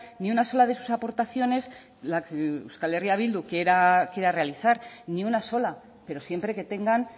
ni una sola de sus aportaciones la que euskal herria bildu quiera realizar ni una sola pero siempre que tengan